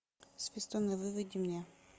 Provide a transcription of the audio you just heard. свистуны выведи мне